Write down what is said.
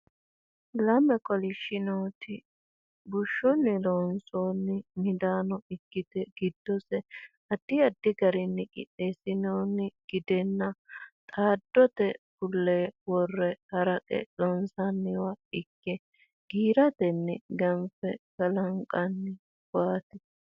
Lame kolishidhinoti bushshunni loonsoonni midaano ikkite giddose addi addi garinni qixxeessinoonni gidenna xaddote bullee worre haraqe loonsanniwa ikke giiratenni ganfe kalanqanniwaaati.